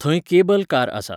थंय cable car आसा.